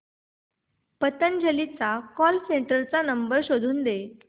पतंजली च्या call centre चा number शोधून दे